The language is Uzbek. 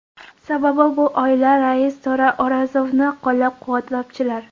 Sababi bu oila rais To‘ra O‘rozovni qo‘llab-quvvatlovchilar.